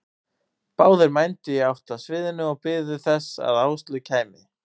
Báðir mændu í átt að sviðinu og biðu þess að Áslaug kæmi.